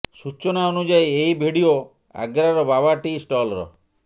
ସୂଚନା ଅନୁଯାୟୀ ଏହି ଭିଡିଓ ଆଗ୍ରାର ବାବା ଟି ଷ୍ଟଲର